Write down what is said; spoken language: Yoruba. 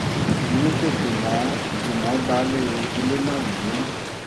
èyí kò dùn mọ́ dùn mọ́ baálé ilé náà nínú